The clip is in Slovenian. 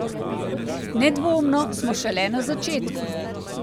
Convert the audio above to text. Nedvomno smo šele na začetku.